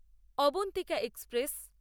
Abantika express